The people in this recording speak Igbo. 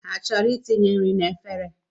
Ha chọrọ itinye nri n’efere?